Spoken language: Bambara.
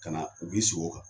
Ka na u bi sigi o kan.